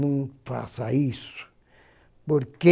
Não faça isso, porque